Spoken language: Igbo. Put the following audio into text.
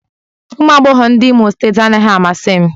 Ụmụ agbọghọ ndị Imo steeti anaghị amasị m